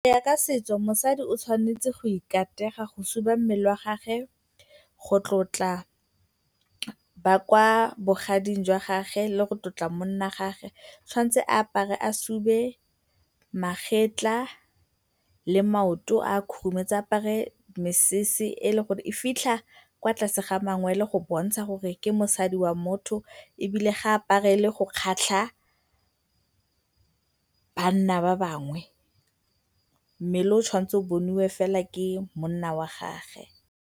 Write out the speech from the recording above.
Go ya ka setso, mosadi o tshwanetse go ikatega go suba mmele wa gagwe go tlotla ba kwa bogading jwa gagwe le go tlotla monna wa gagwe. O tshwanetse a apare a sube magetla le maoto a a khurumetse, a apare mesese e eleng gore e fitlha kwa tlase ga mangwele go bontsha gore ke mosadi wa motho ebile ga a aparele go kgatlha banna ba bangwe, mmele o o tshwanetse o boniwe fela ke monna wa gagwe.